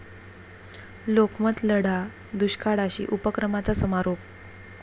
लोकमत लढा दुष्काळाशी' उपक्रमाचा समारोप